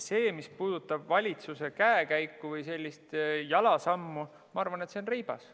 Mis puudutab valitsuse käekäiku või jalasammu – ma arvan, et see on reibas.